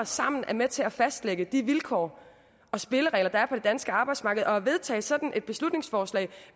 sammen er med til at fastsætte de vilkår og spilleregler der er på det danske arbejdsmarked at vedtage sådan et beslutningsforslag